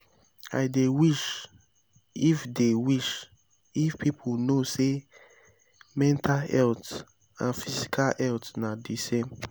i dey wish if dey wish if people know say mental health and physical health na di same.